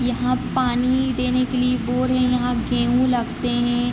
यहाँ पानी देने के लिए बोर है यहाँ गेहूं लगते है।